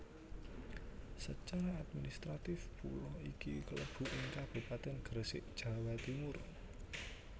Secara administratif pulo iki klebu ing Kabupatèn Gresik Jawa Timur